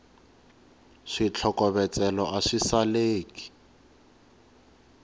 switlokovetselo a swi saleki